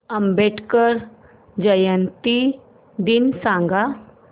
आंबेडकर जयंती दिन सांग